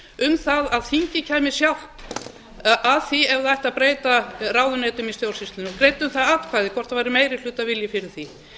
um það að þingið kæmi sjálft að því ef það ætti að breyta ráðuneytum í stjórnsýslunni og greiddi um það atkvæði hvort væri meirihlutavilji fyrir því